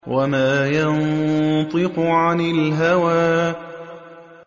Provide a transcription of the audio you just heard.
وَمَا يَنطِقُ عَنِ الْهَوَىٰ